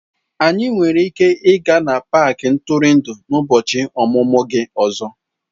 Anyị nwere ike ịga n'paaki ntụrụndụ n'ụbọchị ọmụmụ gị ọzọ.